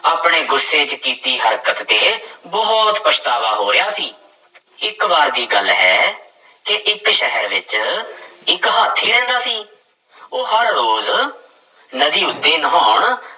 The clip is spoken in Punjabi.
ਆਪਣੇ ਗੁੱਸੇ ਚ ਕੀਤੀ ਹਰਕਤ ਤੇ ਬਹੁਤ ਪਛਤਾਵਾ ਹੋ ਰਿਹਾ ਸੀ ਇੱਕ ਵਾਰ ਦੀ ਗੱਲ ਹੈ ਕਿ ਇੱਕ ਸ਼ਹਿਰ ਵਿੱਚ ਇੱਕ ਹਾਥੀ ਰਹਿੰਦਾ ਸੀ, ਉਹ ਹਰ ਰੋਜ਼ ਨਦੀ ਉੱਤੇ ਨਹਾਉਣ